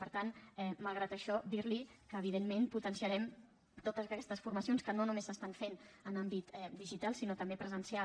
per tant malgrat això dir li que evidentment potenciarem totes aquestes formacions que no només s’estan fent en àmbit digital sinó també presencial